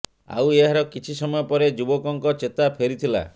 ଆଉ ଏହାର କିଛି ସମୟ ପରେ ଯୁବକଙ୍କ ଚେତା ଫେରିଥିଲା